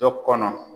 Dɔ kɔnɔ